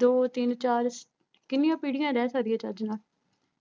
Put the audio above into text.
ਦੋ, ਤਿੰਨ, ਚਾਰ ਕਿੰਨੀਆਂ ਪੀੜ੍ਹੀਆਂ ਰਹਿ ਸਕਦੀਆਂ ਚੱਜ ਨਾਲ,